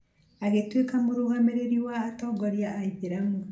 agĩtuĩka mũrũgamĩrĩri wa atongoria a aithĩramu